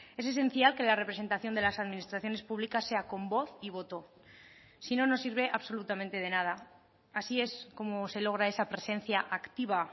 es esencial que la representación de las administraciones públicas sea con voz y voto si no nos sirve absolutamente de nada así es como se logra esa presencia activa